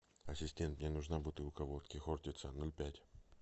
ассистент мне нужна бутылка водки хортица ноль пять